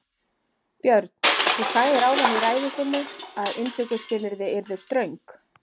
Björn: Þú sagðir áðan í ræðu þinni að inntökuskilyrði yrðu ströng?